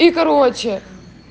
и короче